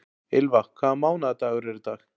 Ylva, hvaða mánaðardagur er í dag?